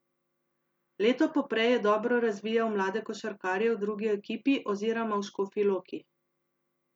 Leto poprej je dobro razvijal mlade košarkarje v drugi ekipi oziroma v Škofji Loki.